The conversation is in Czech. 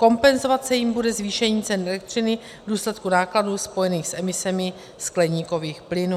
Kompenzovat se jimi bude zvýšení cen elektřiny v důsledku nákladů spojených s emisemi skleníkových plynů.